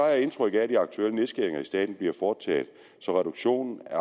jeg indtryk af at de aktuelle nedskæringer i staten bliver foretaget så reduktionen af